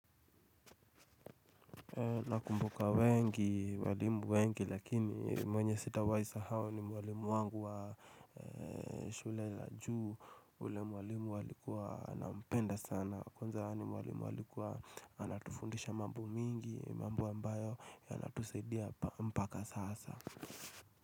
Nakumbuka wengi walimu wengi lakini mwenye sitawahi sahau ni mwalimu wangu wa shule la juu ule mwalimu alikua nampenda sana kwanza yaani mwalimu alikua anatufundisha mambo mingi mambo ambayo yanatusaidia mpaka sasa.